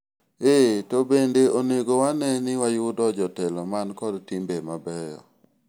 eeh, to bende onego wane ni wayudo jotelo man kod timbe mabeyo